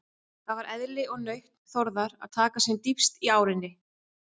Það var eðli og nautn Þórðar að taka sem dýpst í árinni.